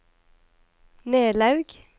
Nelaug